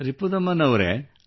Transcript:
ರಿಪುದಮನ್ ಅವರೇ